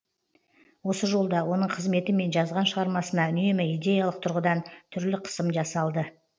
осы жолда оның қызметі мен жазған шығармасына үнемі идеялық тұрғыдан түрлі қысым жасалды